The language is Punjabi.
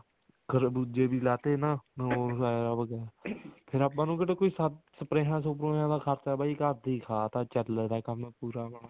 ਖਰਬੂਜੇ ਵੀ ਲਾਤੇ ਨਾ ਹੋਰ ਐਰਾ ਵਗੈਰਾ ਫ਼ੇਰ ਆਪਾਂ ਨੂੰ ਕਿਹੜਾ ਕੋਈ ਸਪਰੇਹਾਂ ਦਾ ਖਰਚਾ ਆਪਣੀ ਤਾਂ ਬਾਈ ਘਰ ਦੀ ਖਾਧ ਹੈ ਚੱਲਦਾ ਕੰਮ ਪੂਰਾ ਆਪਣਾ